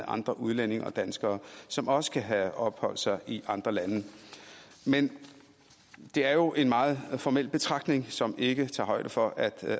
andre udlændinge og danskere som også kan have opholdt sig i andre lande men det er jo en meget formel betragtning som ikke tager højde for at